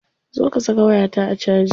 Zo ka saka wayata a caji.